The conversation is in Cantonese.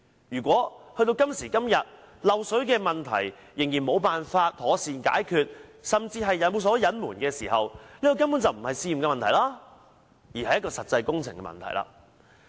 如果到了今時今日，漏水問題仍然無法妥善解決，甚至有所隱瞞，這根本不是試驗的問題，而是實際的工程問題。